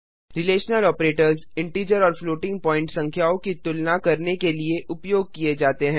relational operators integer और floating point संख्याओं की तुलना करने के लिए उपयोग किए जाते हैं